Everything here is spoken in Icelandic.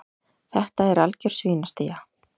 Þetta er algjör svínastía.